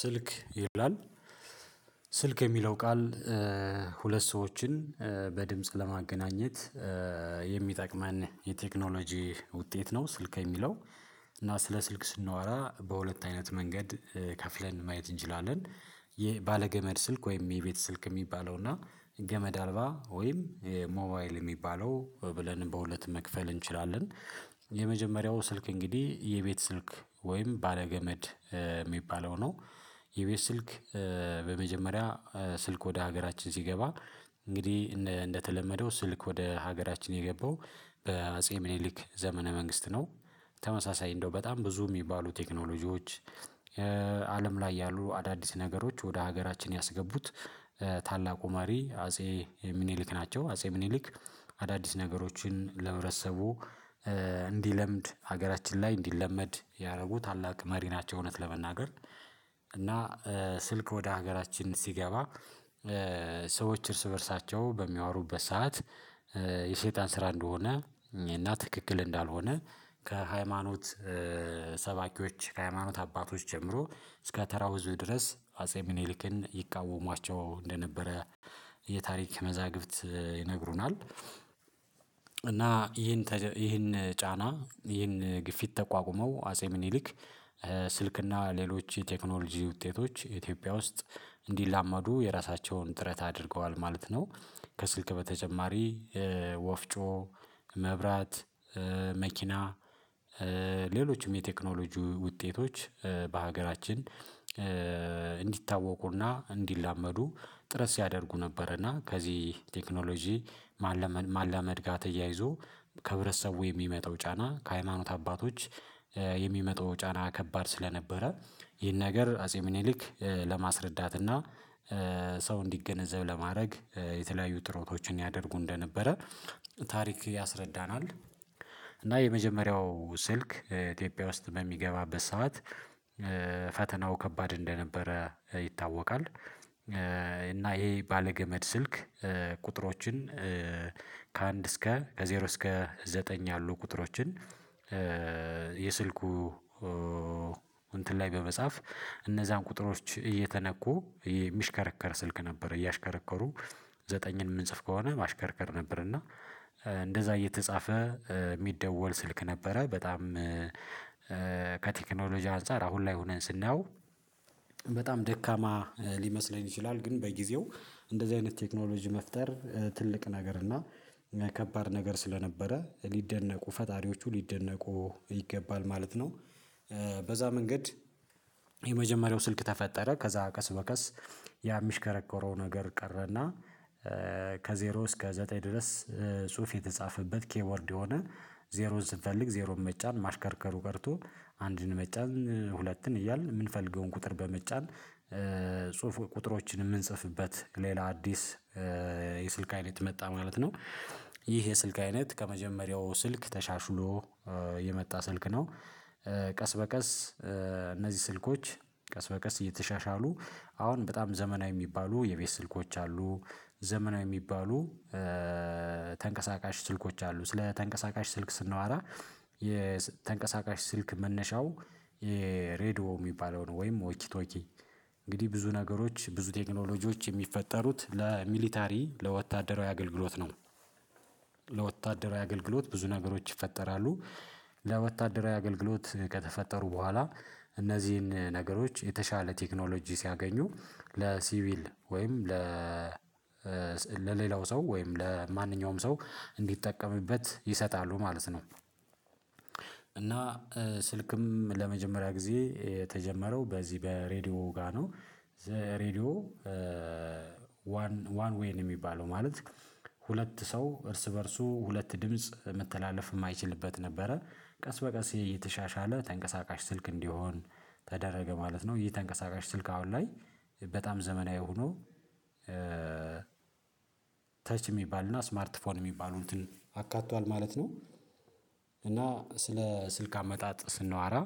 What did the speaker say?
ስልክ ይላል ስልክ የሚለው ቃል ሁለት ሰዎችን በድምጽ ለማገናኘት የሚጠቅመን የቴክኖሎጂ ውጤት ነው። ስልክ የሚለው። እና ስለ ስልክ ስናዋራ በሁለት አይነት መንገድ ከፍለን ማየት እንችላለን። የባለ ገመድ ስልክ ወይም የቤት ስልክ የሚባለው እና ገመድ አልባ ወይም ሞባይል የሚባለው ብለን በሁለት መክፈል እንችላለን። የመጀመሪያው ስልክ እንግዲህ የቤት ስልክ ወይም ባለገመድ የሚባለው ነው። የቤት ስልክ በመጀመሪያ ስልክ ወደ ሀገራችን ሲገባ እንግዲህ እንደተለመደው ስልክ ወደ ሀገራችን የገባው በአጼ ምኒሊክ ዘመነ መንግስት ነው። ተመሳሳይ እንደው በጣም ብዙ የሚባሉ ቴክኖሎጂዎች። አለም ላይ ያሉ አዳዲስ ነገሮች ወደ ሀገራችን ያስገቡት ታላቁ መሪ አጼ ሚኒሊክ ናቸው። አጼ ሚኒሊክ አዳዲስ ነገሮችን ለህብረተሰቡ እንዲለምድ ሀገራችን ላይ እንዲለመድ ያደረጉ ታላቅ መሪ ናቸው። እውነት ለመናገር እና ስልክ ወደ ሀገራችን ሲገባ ሰዎች እርስ በእርሳቸው በሚያወሩበት ሰዓት የሰይጣን ስራ እንደሆነ እና ትክክል እንዳልሆነ ከሃይማኖት ሰባኪዎች ከሃይማኖት አባቶች ጀምሮ እስከ ተራው ህዝብ ድረስ አጼ ሚኒሊክን ይቃወሟቸው እንደነበረ የታሪክ መዛግብት ይነግሩናል። እና ይህን ይህን ጫና ይህን ግፊት ተቋቁመው አጼ ምኒሊክ ስልክ እና ሌሎች የቴክኖሎጂ ውጤቶች ኢትዮጵያ ውስጥ እንዲላመዱ የራሳቸውን ጥረት አድርገዋል ማለት ነው። ከስልክ በተጨማሪ ወፍጮ መብራት መኪና ሌሎችም የቴክኖሎጂ ውጤቶች በሀገራችን። እንዲታወቁና እንዲላመዱ ጥረት ሲያደርጉ ነበረና ከዚህ ቴክኖሎጂ ማላመድ ጋር ተያይዞ ከህብረተሰቡ የሚመጣው ጫና ከሃይማኖት አባቶች የሚመጣው ጫና ከባድ ስለነበረ ይህን ነገር አጼ ምኒሊክ ለማስረዳት እና ሰው እንዲገነዘብ ለማድረግ የተለያዩ ጥረቶችን ያደርጉ እንደነበረ ታሪክ ያስረዳናል። እና የመጀመሪያው ስልክ ኢትዮጵያ ውስጥ በሚገባበት ሰዓት ፈተናው ከባድ እንደነበረ ይታወቃል። እና ይሄ ባለገመድ ስልክ ቁጥሮችን ከአንድ እስከ ከዜሮ እስከ ዘጠኝ ያሉ ቁጥሮችን የስልኩ እንትን ላይ በመጻፍ እነዛን ቁጥሮች እየተነኩ የሚሽከረከር ስልክ ነበር እያሽከረከሩ ዘጠኝን የምንጽፍ ከሆነ ማሽከርከር ነበር እና እንደዛ እየተጻፈ የሚደወል ስልክ ነበረ። በጣም ከቴክኖሎጂ አንፃር አሁን ላይ ሆነን ስናየው በጣም ደካማ ሊመስለን ይችላል። ግን በጊዜው እንደዚህ አይነት ቴክኖሎጂ መፍጠር ትልቅ ነገር እና ከባድ ነገር ስለነበረ ሊደነቁ ፈጣሪዎቹ ሊደነቁ ይገባል ማለት ነው። በዛ መንገድ የመጀመሪያው ስልክ ተፈጠረ። ከዛ ቀስ በቀስ ያ የሚሽከረከረው ነገር ቀረና ከዜሮ እስከ ዘጠኝ ድረስ ጽሁፍ የተጻፈበት ኬቦርድ የሆነ ዜሮን ስንፈልግ ዜሮን መጫን ማሽከርከሩ ቀርቶ አንድን መጫን ሁለትን እያልን የምንፈልገውን ቁጥር በመጫን ጽሁፍ ቁጥሮችን የምንጽፍበት ሌላ አዲስ የስልክ አይነት መጣ ማለት ነው። ይህ የስልክ አይነት ከመጀመሪያው ስልክ ተሻሽሎ የመጣ ስልክ ነው። ቀስ በቀስ እነዚህ ስልኮች ቀስ በቀስ እየተሻሻሉ አሁን በጣም ዘመናዊ የሚባሉ የቤት ስልኮች አሉ። ዘመናዊ የሚባሉ ተንቀሳቃሽ ስልኮች አሉ። ስለ ተንቀሳቃሽ ስልክ ስናወራ የተንቀሳቃሽ ስልክ መነሻው የሬድዮ የሚባለውን ወይም ወኪ ቶኪ እንግዲህ ብዙ ነገሮች ብዙ ቴክኖሎጂዎች የሚፈጠሩት ለሚሊታሪ ለወታደራዊ አገልግሎት ነው። ለወታደራዊ አገልግሎት ብዙ ነገሮች ይፈጠራሉ። ለወታደራዊ አገልግሎት ከተፈጠሩ በኋላ እነዚህን ነገሮች የተሻለ ቴክኖሎጂ ሲያገኙ ለሲቪል ወይም ለ ለሌላው ሰው ወይም ለማንኛውም ሰው እንዲጠቀምበት ይሰጣሉ ማለት ነው። እና ስልክም ለመጀመሪያ ጊዜ የተጀመረው በዚህ በሬዲዮ ጋር ነው። ዘ ሬዲዮ ዋን ዋን ዌይ ነው የሚባለው ማለት ሁለት ሰው እርስ በእርሱ ሁለት ድምጽ መተላለፍ የማይችልበት ነበረ። ቀስ በቀስ እየተሻሻለ ተንቀሳቃሽ ስልክ እንዲሆን ተደረገ ማለት ነው። ይሄ ተንቀሳቃሽ ስልክ አሁን ላይ በጣም ዘመናዊ ሆኖ ተች የሚባልና ስማርት ፎን የሚባሉ እንትን አካቷል ማለት ነው። እና ስለ ስልክ አመጣጥ ስናዋራ